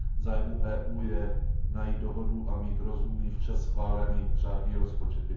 V zájmu EU je najít dohodu a mít rozumný, včas schválený řádný rozpočet.